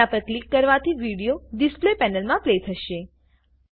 તેના પર ક્લિક કરવાથી વિડીયો ડિસ્પ્લે પેનલમાં પ્લે થશે